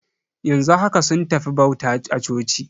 Yanzu haka sun tafi bauta a coci.